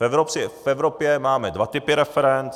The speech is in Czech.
V Evropě máme dva typy referend.